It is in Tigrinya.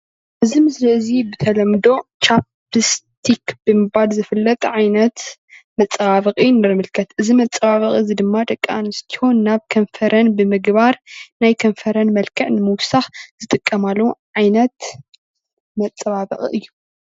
እዚ ምስሊ እዚ ብተለምዶ ቻፒስቲክ ብምባል ዝፍለጥ ዓይነት መፀባበቒ ይምልከት እዚ መፀባብቂ ድማ ደቂ አነስትዮ ናብ ከንፈረን ብምግባር ናይ ከንፈረን መልክዕ ንምውሳክ ዝጥቀማሉ ዓይነት መፀባበቒ እዩ።